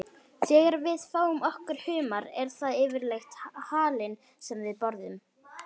Þegar við fáum okkur humar er það yfirleitt halinn sem við borðum.